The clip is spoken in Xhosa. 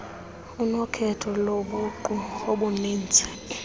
unokhetho lobuqu oluninzi